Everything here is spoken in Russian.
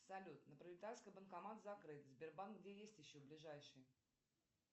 салют на пролетарской банкомат закрыт сбербанк где есть еще ближайший